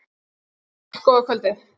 SKÚLI: Góða kvöldið!